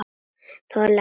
Þoldi ekki.